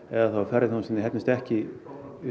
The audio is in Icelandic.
eða að ferðaþjónustan nái ekki